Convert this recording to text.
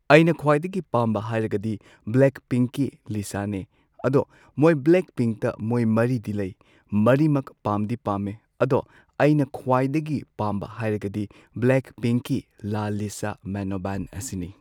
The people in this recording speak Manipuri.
ꯑꯩꯅ ꯈ꯭ꯋꯥꯏꯗꯒꯤ ꯄꯥꯝꯕ ꯍꯥꯏꯔꯒꯗꯤ ꯕ꯭ꯂꯦꯛ ꯄꯤꯡꯀꯤ ꯂꯤꯁꯥꯅꯦ ꯑꯗꯣ ꯃꯣꯏ ꯕ꯭ꯂꯦꯛ ꯄꯤꯡꯇ ꯃꯣꯏ ꯃꯔꯤꯗꯤ ꯂꯩ ꯃꯔꯤꯃꯛ ꯄꯥꯝꯗꯤ ꯄꯥꯝꯃꯦ ꯑꯗꯣ ꯑꯩꯅ ꯈ꯭ꯋꯥꯏꯗꯒꯤ ꯄꯥꯝꯕ ꯍꯥꯏꯔꯒꯗꯤ ꯕ꯭ꯂꯦꯛ ꯄꯤꯡꯀꯤ ꯂꯥ ꯂꯤꯁꯥ ꯃꯦꯅꯣꯕꯥꯟ ꯑꯁꯤꯅꯤ꯫